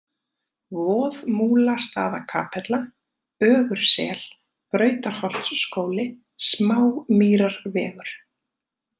Voðmúlastaðakapella, Ögursel, Brautarholtsskóli, Smámýrarvegur